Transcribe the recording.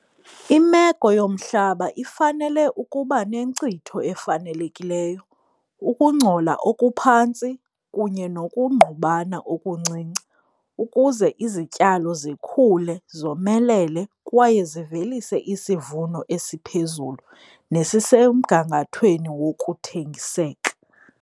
Imeko yomhlaba ifanele ukuba nenkcitho efanelekileyo. ukungcola okuphantsi kunye nokungqubana okuncinci ukuze izityalo zikhule, zomelele kwaye zivelise isivuno esiphezulu nesisemgangathweni wokuthengiseka.